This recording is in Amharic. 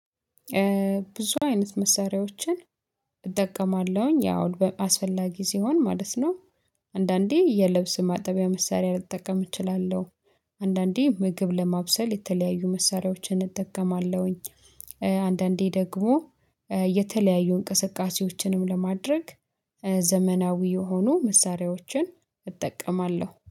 ብዙ አይነት መሳሪያዎችን እጠቀማለሁኝ ያው አስፈላጊ ሲሆን ማለት ነው። አንድአንዴ የልብስ ማጠቢያ መሳሪያ ልጠቀም እችላለሁ። አንድአንዴ ምግብ ለማብሰል የተለያዩ መሳሪያዎችን ልጠቀም እችላለሁ። አንድአንዴ ደግሞ የተለያዩ እንቅስቃሴዎችንም ለማድረግ ዘመናዊ የሆኑ መሳሪያዎችን እጠቀማለሁ።